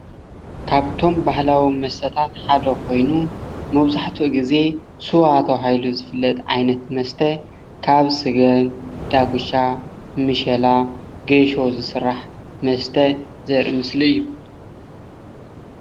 ካብቶም ባህላዊ መስተታት ሓደ ኮይኑ መብዛሕትኡ ግዜ ስዋ ተባሂሉ ዝፍለጥ ዓይነት መስተ ካብ ስገም፣ ዳጉሻ፣ ምሸላ፣ ጌሾ ዝስራሕ መስተ ዘርኢ ምስሊ እዩ፡፡